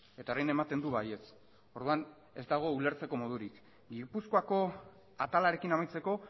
eta orain ematen du baietz orduan ez dago ulertzeko modurik gipuzkoako atalarekin amaitzeko